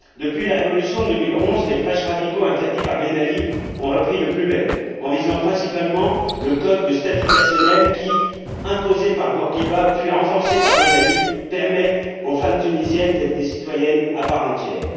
Depuis la révolution de 2011, les prêches radicaux interdits par Ben Ali ont repris de plus belle, en visant principalement le Code de statut personnel qui, imposé par Bourguiba, puis renforcé par Ben Ali, permet aux femmes tunisiennes d'être des citoyennes à part entière.